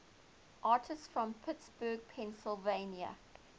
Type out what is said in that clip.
artists from pittsburgh pennsylvania